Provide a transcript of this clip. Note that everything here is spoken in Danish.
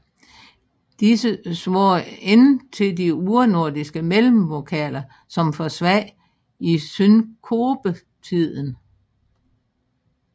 Disse svarer ikke til de urnordiske mellemvokaler som forsvandt i synkopetiden